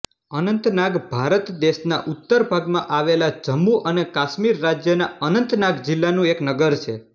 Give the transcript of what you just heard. અનંતનાગ ભારત દેશના ઉત્તર ભાગમાં આવેલા જમ્મુ અને કાશ્મીર રાજ્યના અનંતનાગ જિલ્લાનું એક નગર છે